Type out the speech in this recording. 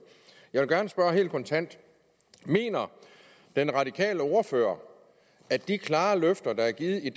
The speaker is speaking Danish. jeg vil gerne spørge helt kontant mener den radikale ordfører at de klare løfter der er givet i